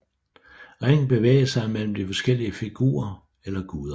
Ringen bevægede sig mellem de forskellige figurer eller guder